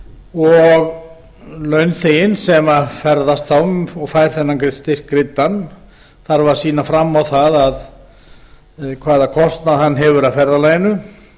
og launþeginn sem ferðast þá og fær þennan styrk greiddan þarf að sýna fram á það hvaða kostnað hann hefur af ferðalaginu